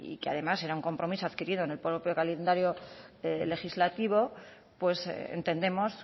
que además era un compromiso adquirido en el propio calendario legislativo entendemos